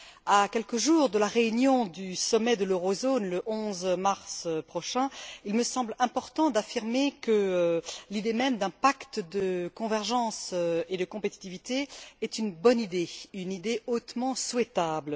À quelques jours de la réunion du sommet de l'Eurozone, le 11 mars prochain, il me semble important d'affirmer que l'idée même d'un pacte de convergence et de compétitivité est bonne et hautement souhaitable.